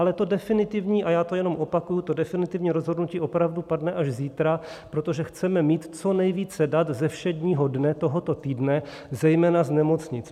Ale to definitivní, a já to jenom opakuji, to definitivní rozhodnutí opravdu padne až zítra, protože chceme mít co nejvíce dat ze všedního dne tohoto týdne zejména z nemocnic.